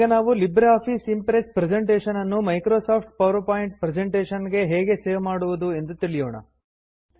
ಈಗ ನಾವು LibreOffice Impress presentation ನ್ನು ಮೈಕ್ರೋಸಾಫ್ಟ್ ಪವರ್ ಪಾಯಿಂಟ್ ಪ್ರೆಸೆಂಟೇಷನ್ ಗೆ ಹೇಗೆ ಸೇವ್ ಮಾಡುವುದು ಎಂದು ತಿಳಿಯೋಣ